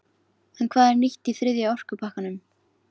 En hvað er nýtt í þriðja orkupakkanum?